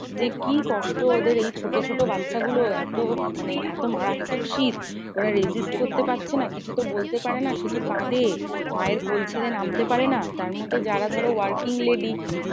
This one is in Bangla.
যে কি কষ্ট ওদের এই ছোট ছোট বাচ্চা গুলো এত মানে এত মারাত্মক শীত ওরা resist করতে পারছে না। কিছু তো বলতে পারে না সুদু কাঁদে। মায়ের কল ছেড়ে নামতে পারে না। তার মধ্যে যারা ধরো working lady